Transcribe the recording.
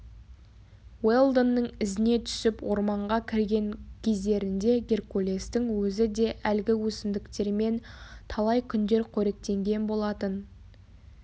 уэлдонның ізіне түсіп орманға кірген кездерінде геркулестің өзі де әлгі өсімдіктермен талай күндер коректенген болатын